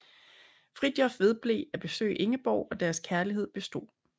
Fridtjof vedblev at besøge Ingeborg og deres kærlighed bestod